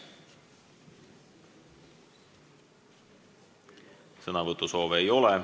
Sõnasoove ei ole.